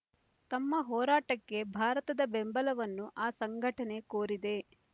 ತಮ್ಮ ಹೋರಾಟಕ್ಕೆ ಭಾರತದ ಬೆಂಬಲವನ್ನು ಆ ಸಂಘಟನೆ ಕೋರಿದೆ